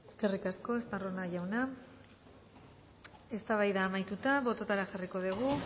eskerrik asko estarrona jauna eztabaida amaituta botoetara jarriko dugu